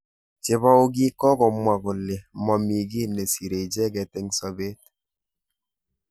Chebou kii kokomwa kole momi ki nesirei icheket eng sabet.